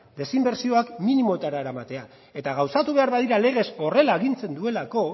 desinbertsioak minimoetara eramatea eta gauzatu behar badira legez horrela agintzen duelako